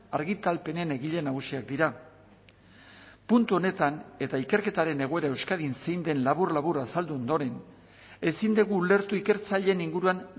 argitalpenen egile nagusiak dira puntu honetan eta ikerketaren egoera euskadin zein den labur labur azaldu ondoren ezin dugu ulertu ikertzaileen inguruan